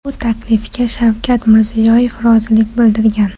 Bu taklifga Shavkat Mirziyoyev rozilik bildirgan.